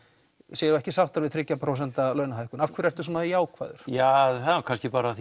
séu ekki sáttar við þriggja prósenta launahækkun af hverju ertu svona jákvæður ja það er nú kannski bara